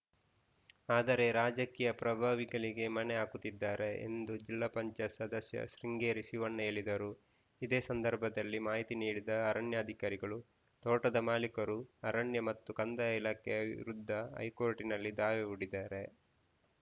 ಆದರೆ ರಾಜಕೀಯ ಪ್ರಭಾವಿಗಳಿಗೆ ಮಣೆ ಹಾಕುತ್ತಿದ್ದಾರೆ ಎಂದು ಜಿಲ್ಲಾ ಪಂಚಾಯತ್ ಸದಸ್ಯ ಶೃಂಗೇರಿ ಶಿವಣ್ಣ ಹೇಳಿದರು ಇದೇ ಸಂದರ್ಭದಲ್ಲಿ ಮಾಹಿತಿ ನೀಡಿದ ಅರಣ್ಯಾಧಿಕಾರಿಗಳು ತೋಟದ ಮಾಲೀಕರು ಅರಣ್ಯ ಮತ್ತು ಕಂದಾಯ ಇಲಾಖೆಯ ವಿರುದ್ಧ ಹೈಕೋರ್ಟಿನಲ್ಲಿ ದಾವೆ ಹೂಡಿದ್ದಾರೆ